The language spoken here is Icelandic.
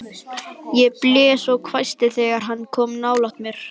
Ég blés og hvæsti þegar hann kom nálægt mér.